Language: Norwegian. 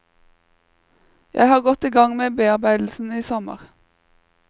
Jeg har gått i gang med bearbeidelsen i sommer.